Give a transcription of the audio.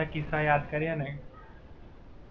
હાં, બધા કિસ્સા યાદ કરીએ ને